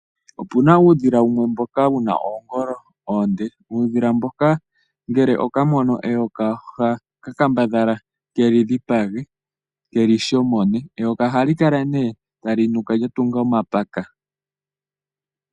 Opuna uudhila wumwe mboka wuna oongolo oonde. Uudhila mboka ngele oka mono eyoka oha ka kambadhala keli dhipage keli shomone. Eyoka ohali kala nee tali nuka lya tunga omapaka.